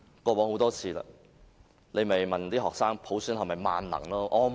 過往很多次了，政府只是問學生普選是否萬能？